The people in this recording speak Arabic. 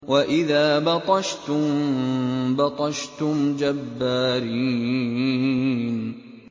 وَإِذَا بَطَشْتُم بَطَشْتُمْ جَبَّارِينَ